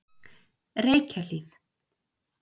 Reykjahlíð